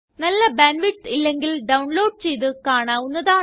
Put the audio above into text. നല്ല bandwidth ഇല്ലെങ്കില് download ചെയ്ത് കാണാവുന്നതാണ്